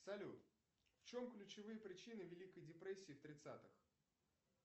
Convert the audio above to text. салют в чем ключевые причины великой депрессии в тридцатых